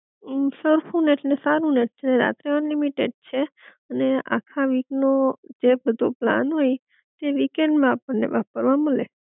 અમ સરખું નેટ ને સારું નેટ છે રાતે અનલિમિટેડ છે, અને આખા વીક નો જે બધો પ્લાન હોય એ વીકેન્ડ માં આપણ ને વાપરવા મલે